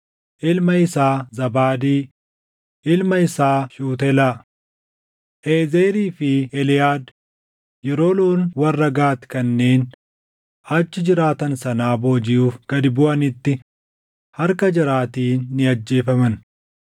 ilma isaa Zaabaadii, ilma isaa Shuutelaa. Eezerii fi Eliʼaad yeroo loon warra Gaati kanneen achi jiraatan sanaa boojiʼuuf gad buʼanitti harka jaraatiin ni ajjeefaman.